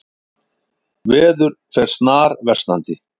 Veður fer snarversnandi